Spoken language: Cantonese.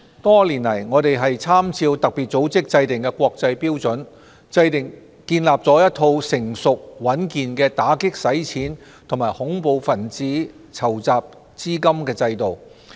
多年來，我們參照特別組織制訂的國際標準，建立了一套成熟穩健的打擊洗錢及恐怖分子資金籌集制度。